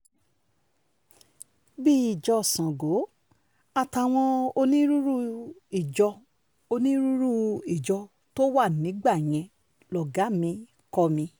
bíi ìjọ sango àtàwọn onírúurú ìjọ onírúurú ìjọ tó wà nígbà yẹn lọ́gàá mi kọ́ mi